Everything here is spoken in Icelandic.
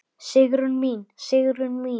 Sigrún mín, Sigrún mín.